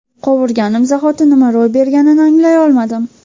Qovurganim zahoti nima ro‘y berganini anglay olmay qoldim.